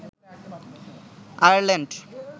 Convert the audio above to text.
Ireland